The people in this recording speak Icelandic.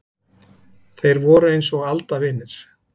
Þeir voru eins og aldavinir.